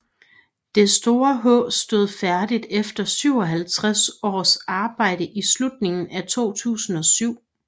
Det store H stod færdigt efter 57 års arbejde i slutningen af 2007